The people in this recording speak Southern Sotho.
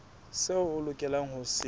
seo o lokelang ho se